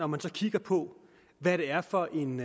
man så kigger på hvad det er for en